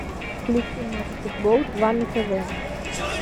включи матч футбол два на тв